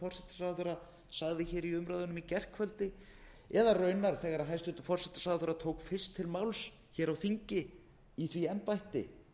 forsætisráðherra sagði í umræðunum í gærkvöldi eða raunar þegar hæstvirtur forsætisráðherra tók fyrst til máls á þingi í því embætti